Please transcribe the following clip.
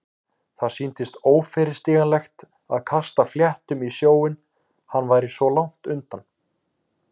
Það sýndist óyfirstíganlegt að kasta fléttum í sjóinn- hann væri svo langt undan.